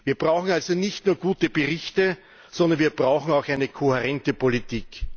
Wir brauchen also nicht nur gute Berichte, sondern wir brauchen auch eine kohärente Politik!